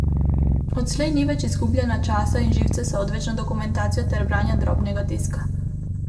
Odslej ni več izgubljanja časa in živcev z odvečno dokumentacijo ter branja drobnega tiska.